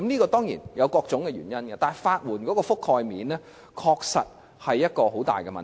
這當然有各種原因，但法援的覆蓋面確實是很大的問題。